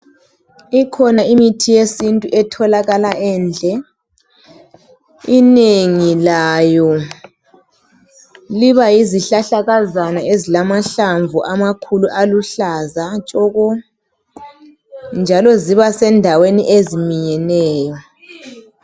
Ikhona imithi yesintu etholakala enje inengi layo liba yihlahlakazana esilamahlamvu amakhulu aluhlaza tshoko njalo ziba sendaweni eziminyeneyo